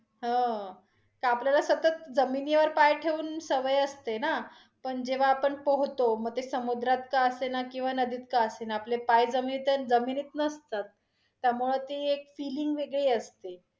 हो, त आपल्याला सतत जमिनीवर पाय ठेवून सवय असते न, पण जेव्हा आपण पोहोतो, मग ते समुद्रात का असेना किंवा नदीत का असेना आपले पाय जमीनीत आहे, जमिनीत नसतात त्यामुळे ती एक feeling वेगळी असते.